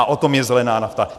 A o tom je zelená nafta.